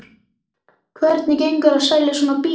Hvernig gengur að selja svona bíla?